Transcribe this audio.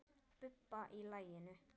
Bubba í laginu.